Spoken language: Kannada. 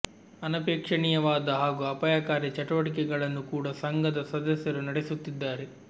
ಅನಪೇಕ್ಷಣೀಯವಾದ ಹಾಗೂ ಅಪಾಯಕಾರಿ ಚಟುವಟಿಕೆ ಗಳನ್ನು ಕೂಡಾ ಸಂಘದ ಸದಸ್ಯರು ನಡೆಸುತ್ತಿದ್ದಾರೆ